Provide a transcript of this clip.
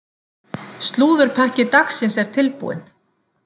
Slúðurpakki dagsins er tilbúinn.